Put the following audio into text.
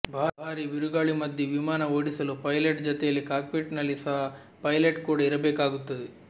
ಭಾರಿ ಬಿರುಗಾಳಿ ಮಧ್ಯೆ ವಿಮಾನ ಓಡಿಸಲು ಪೈಲಟ್ ಜತೆಯಲ್ಲಿ ಕಾಕ್ಪಿಟ್ನಲ್ಲಿ ಸಹ ಪೈಲಟ್ ಕೂಡ ಇರಬೇಕಾಗುತ್ತದೆ